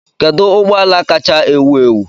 kedu ụgbọ ala kacha ewu ewu